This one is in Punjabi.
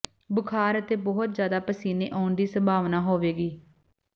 ਬੁਖ਼ਾਰ ਅਤੇ ਬਹੁਤ ਜ਼ਿਆਦਾ ਪਸੀਨੇ ਆਉਣ ਦੀ ਸੰਭਾਵਨਾ ਹੋਵੇਗੀ